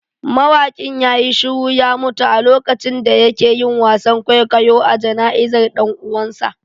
Mawakin ya yi shiru ya mutu a lokacin da yake yin wasan kwaikwayo a jana'izar dan uwansa